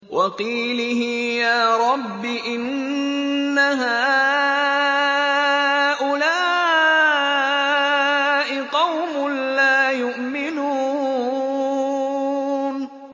وَقِيلِهِ يَا رَبِّ إِنَّ هَٰؤُلَاءِ قَوْمٌ لَّا يُؤْمِنُونَ